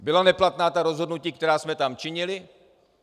Byla neplatná ta rozhodnutí, která jsme tam činili?